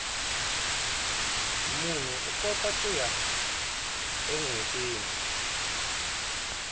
munhu ukota kuya enwetini